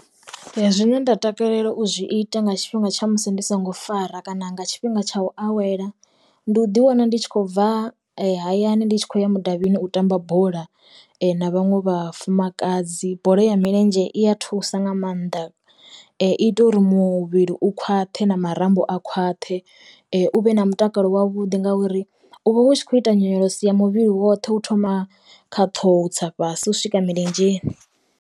Zwine nda takalela u zwi ita nga tshifhinga tsha musi ndi songo fara kana nga tshifhinga tsha u awela, ndi u ḓi wana ndi tshi khou bva hayani ndi tshi khou ya mudavhini u tamba bola na vhaṅwe vhafumakadzi, bola ya milenzhe i a thusa nga maanḓa i ita uri muvhili u khwaṱhe na marambo a khwaṱhe u vhe na mutakalo wavhuḓi ngauri u vha hu tshi khou ita nyonyoloso ya muvhili woṱhe u thoma kha ṱhoho tsa fhasi u swika milenzheni.